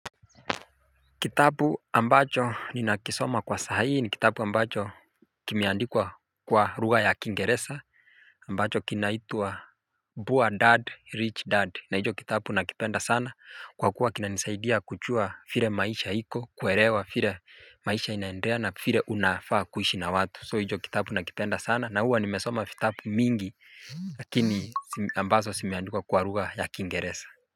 Kitabu ambacho ni nakisoma kwa sahaii ni kitabu ambacho kimiandikwa kwa lugha ya Kingereza ambacho kinaitua poor Dad Rich Dad na hicho kitabu nakipenda sana kwa kuwa kinanisaidia kujua vile maisha hiko kuelewa vile maisha inaendea na vile unafaa kuishi na watu soo hicho kitabu nakipenda sana na huwa nimesoma vitabu mingi lakini ambazo zimeandikwa kwa lugha ya Kingereza.